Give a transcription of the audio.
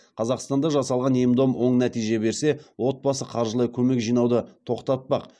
қазақстанда жасалған ем дом оң нәтиже берсе отбасы қаржылай көмек жинауды тоқтатпақ